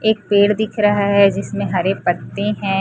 एक पेड़ दिख रहा है जिसमें हरे पत्ते हैं।